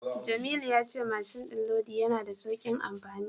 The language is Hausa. Jamilu ya ce mashin din lodi yana da saukin amfani.